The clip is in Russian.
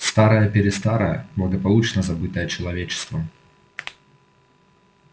старое-престарое благополучно забытое человечеством